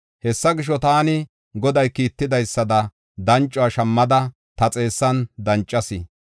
Hessa gisho, taani Goday kiittidaysada dancuwa shammada ta xeessan dancas.